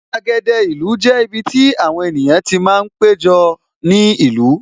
Gbàgede ìlú jẹ́ ibiti àwọn ènìyàn ti máa ń péjọ ní ìlú